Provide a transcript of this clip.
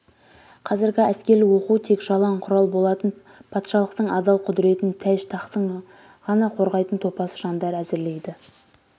қазіргі әскерлік оқу тек жалаң құрал болатын патшалықтың адал құдыретін таж-тахтын ғана қорғайтын топас жандар әзірлейді